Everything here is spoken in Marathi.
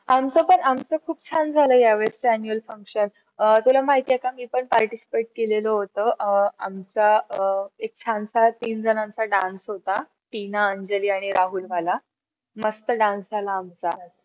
तुला माहित आहे का? मी पण participate केलेलं होतं, अं आमचा अं एक छानसा तीन जणांचा dance होता. टीना, अंजली आणि राहुल वाला मस्त dance झाला आमचा